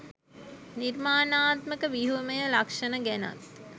නිර්මාණාත්මක ව්‍යුහමය ලක්ෂණ ගැනත්